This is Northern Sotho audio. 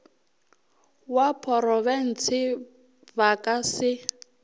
wa porofense ba ka se